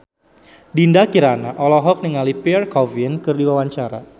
Dinda Kirana olohok ningali Pierre Coffin keur diwawancara